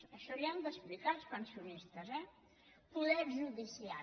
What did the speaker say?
això ho han d’explicar als pensionistes eh poder judicial